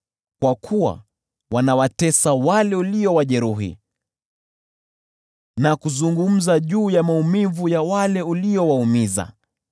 Kwa kuwa wanawatesa wale uliowajeruhi, na kuzungumza juu ya maumivu ya wale uliowaumiza.